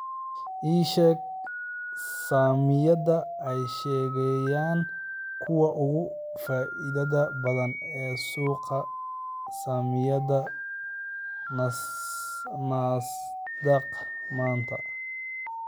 Ii sheeg saamiyada ay ahaayeen kuwa ugu faa'iidada badnaa ee suuqa saamiyada nasdaq maanta